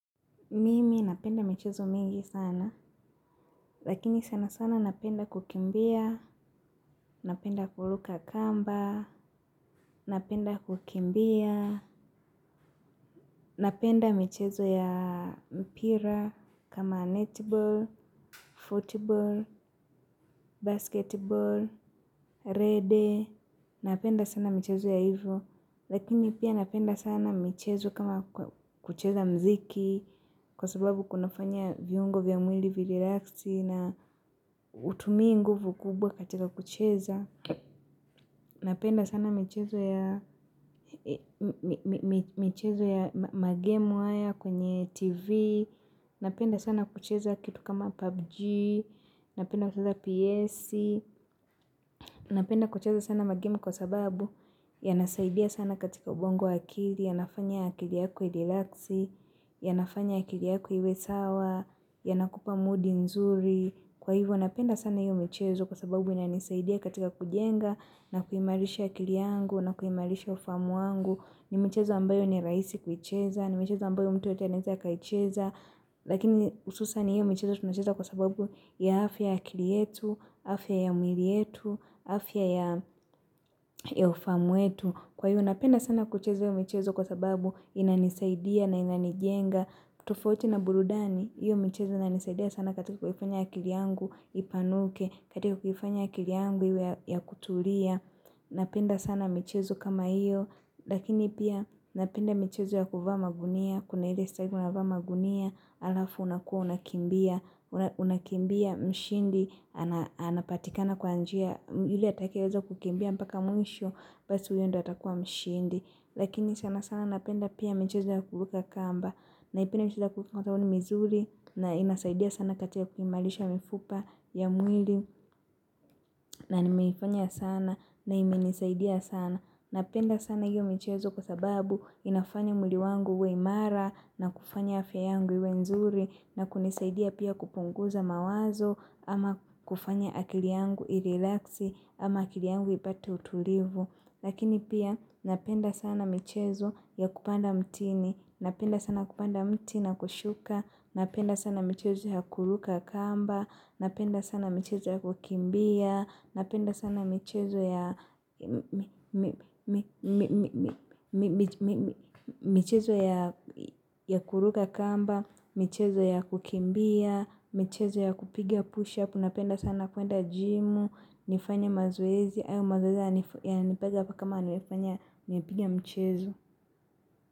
Mimi napenda michezo mingi sana, lakini sana sana napenda kukimbia, napenda kuluka kamba, napenda kukimbia, napenda michezo ya mpira kama netball, football, basketball, rede, napenda sana michezo ya hivyo. Lakini pia napenda sana michezo kama kucheza mziki, kwa sababu kunafanya viungo vya mwili virilaki na hutumii nguvu kubwa katika kucheza. Napenda sana michezo ya magemu haya kwenye tv, napenda sana kucheza kitu kama pubg, napenda kucheza ps, napenda kucheza sana magemu kwa sababu ya nasaidia sana katika ubongo akili, ya nafanya akili yako iliraxi, ya nafanya akiliyaku iwe sawa, ya nakupa moodi nzuri. Kwa hivyo, napenda sana hiyo michezo kwa sababu inanisaidia katika kujenga na kuimarisha akili yangu na kuimarisha ufahamu wangu. Ni michezo ambayo ni rahisi kuicheza, ni michezo ambayo mtu anaeza akaicheza. Lakini hususan hiyo michezo tunacheza kwa sababu ya afya ya akili yetu, afya ya mwili yetu, afya ya ya ufahamu wetu Kwa hiyo napenda sana kucheza michezo kwa sababu inanisaidia na inanijenga tofauti na burudani, hiyo michezo inanisaidia sana katika kufanya akili yangu ipanuke, katika kufanya akili yangu ya kutulia Napenda sana michezo kama hiyo, lakini pia napenda michezo ya kuvaa magunia kuna hile stag unavaa magunia alafu unakua unakimbia unakimbia mshindi ana anapatikana kwa njia yule atakaye weza kukimbia mpaka mwisho basi uyo ndo atakua mshindi lakini sana sana napenda pia michezo ya kuvuka kamba na ipende mchezo ya kubuka kamba na inasaidia sana katia kuimalisha mifupa ya mwili na nimeifanya sana na imenisaidia sana napenda sana hio michezo kwa sababu inafanya mwili wangu uwe imara na kufanya afya yangu iwe nzuri na kunisaidia pia kupunguza mawazo ama kufanya akili yangu i-relaxi ama akili yangu ipate utulivu lakini pia napenda sana michezo ya kupanda mtini napenda sana kupanda mti na kushuka napenda sana michezo ya kuluka kamba napenda sana michezo ya kukimbia Napenda sana michezo ya michezo ya kuruka kamba, michezo ya kukimbia, mchezo ya kupiga push up, napenda sana kuenda jimu, nifanya mazoezi, ayo mazoezi ya kama nifanya, nipigia mchezo.